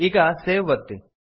ಈಗ ಸೇವ್ ಒತ್ತಿ